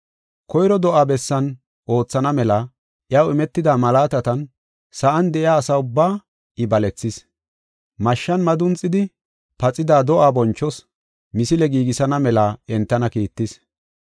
Koyro do7aa bessan oothana mela, iyaw imetida malaatatan sa7an de7iya asa ubbaa I balethis. Mashshan madunxidi paxida do7aa bonchoos misile giigisana mela entana kiittis.